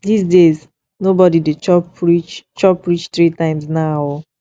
dis days no bodi dey chop reach chop reach three times now o